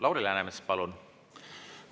Lauri Läänemets, palun!